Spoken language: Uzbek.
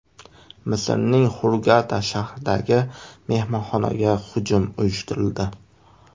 Misrning Xurgada shahridagi mehmonxonaga hujum uyushtirildi.